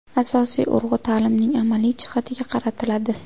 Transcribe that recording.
Asosiy urg‘u ta’limning amaliy jihatiga qaratiladi.